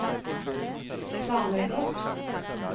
planlegger